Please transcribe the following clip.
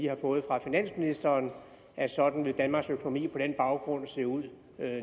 har fået fra finansministeren om at sådan vil danmarks økonomi på den baggrund se ud